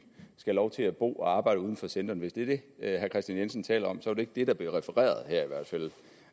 skal have lov til at bo og arbejde uden for centrene hvis det er det herre kristian jensen taler om så var ikke det der blev refereret her i hvert fald